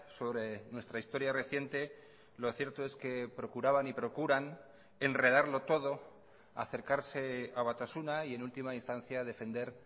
sobre nuestra historia reciente lo cierto es que procuraban y procuran enredarlo todo acercarse a batasuna y en última instancia defender